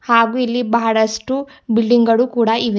ಹಾಗು ಇಲ್ಲಿ ಬಹಳಷ್ಟು ಬಿಲ್ಡಿಂಗ್ ಗಳು ಕೂಡ ಇವೆ.